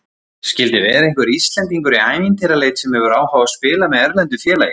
Skildi vera einhver Íslendingur í ævintýraleit sem hefur áhuga á að spila með erlendu félagi?